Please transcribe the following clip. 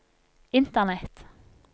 internett